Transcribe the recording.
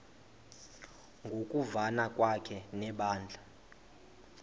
ngokuvana kwakhe nebandla